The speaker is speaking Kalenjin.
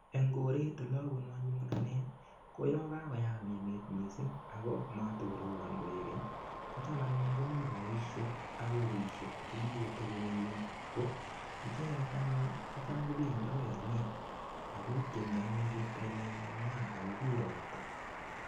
Eng koret ole abunu anyun ane ko yo kakoyam emet missing ako matokorobon koek keny kocham anyun ko mi boishek ak kokotioshek chekikotebi koek keny ko icheket anyun ko cham kobendi akoi oinet akotienji anyun cheptailel nengwany akokur ropta